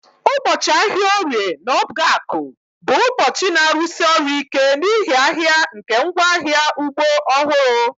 Ụbọchị ahịa Orie na obgaku bụ ụbọchị na-arụsi ọrụ ike n'ihi ahịa nke ngwaahịa ugbo ọhụrụ